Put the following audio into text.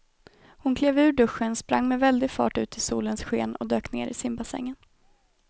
Hon klev ur duschen, sprang med väldig fart ut i solens sken och dök ner i simbassängen.